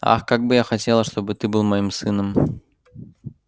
ах как бы я хотела чтобы ты был моим сыном